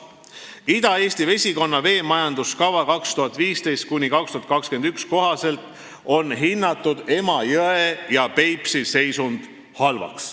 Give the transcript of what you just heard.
Ida-Eesti vesikonna 2015.–2021. aasta veemajanduskava kohaselt on Emajõe ja Peipsi järve seisund hinnatud halvaks.